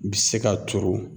Bi se ka turu